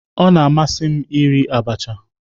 Ọ na-amasị m iri abacha